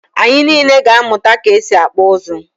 ạnyị niile ga-amụta ka e si akpụ ụzụ.